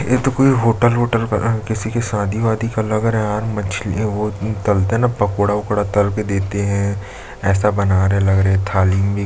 ये तो कोई होटल ओटल लग रहा है या किसी का शादी वादी लग रहा है मछली वो तलते है ना पकोड़ा वकोडा तल के देते है ऐसा बना रहे है लग रहा है थाली मे--